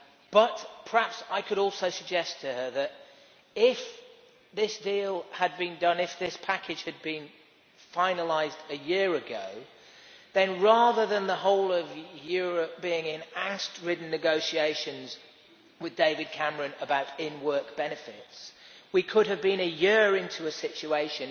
But, perhaps I could also suggest to her that if this deal had been done, if this package had been finalised a year ago, then rather than the whole of Europe being in angst ridden negotiations with David Cameron about in work benefits, we could have been a year into a situation